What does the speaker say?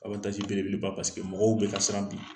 beleleba mɔgɔw bɛ ka siran bi